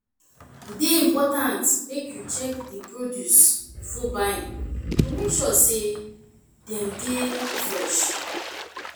e dey important make you check di produce before buying to make sure say dem dey fresh.